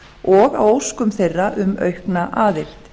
og á óskum þeirra um aukna aðild